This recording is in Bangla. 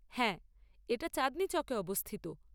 হ্যাঁ, এটা চাঁদনি চক এ অবস্থিত।